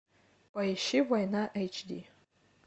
поищи война эйч ди